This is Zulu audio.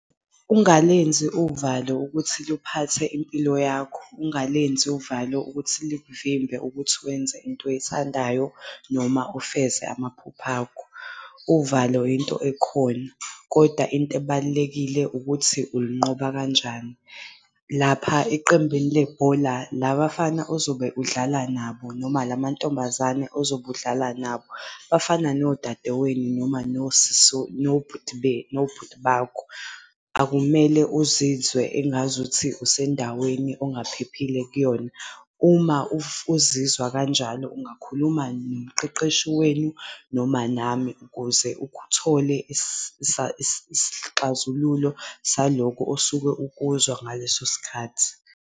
Ungalenzi uvalo ukuthi luphathe impilo yakho. Ungalenzi uvalo ukuthi likuvimbe ukuthi wenze into oyithandayo noma ufeze amaphupho akho. Uvalo into ekhona, kodwa into ebalulekile ukuthi ulunqoba kanjani. Lapha eqembini lebhola labafana ozobe udlala nabo noma la mantombazane ozobe udlala nabo, bafana nodadewenu noma noma nobhuti bakho. Akumele uzizwe engazuthi usendaweni ongaphephile kuyona. Uma uzizwa kanjalo ungakhuluma nomqeqeshi wenu noma nami ukuze ukuthole isixazululo salokho osuke ukuzwa ngaleso sikhathi.